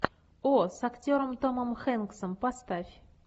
о с актером томом хэнксом поставь